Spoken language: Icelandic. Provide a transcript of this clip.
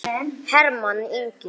Hermann Ingi.